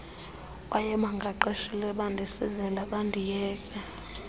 wayebaqeshile bandisizela bandiyeka